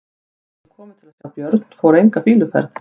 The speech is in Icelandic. Þeir sem komu til að sjá Björn fóru enga fýluferð.